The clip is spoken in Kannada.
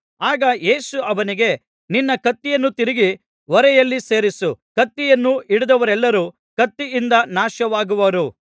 ಆಗ ಯೇಸು ಅವನಿಗೆ ನಿನ್ನ ಕತ್ತಿಯನ್ನು ತಿರುಗಿ ಒರೆಯಲ್ಲಿ ಸೇರಿಸು ಕತ್ತಿಯನ್ನು ಹಿಡಿದವರೆಲ್ಲರೂ ಕತ್ತಿಯಿಂದ ನಾಶವಾಗುವರು